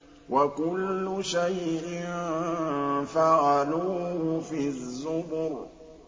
وَكُلُّ شَيْءٍ فَعَلُوهُ فِي الزُّبُرِ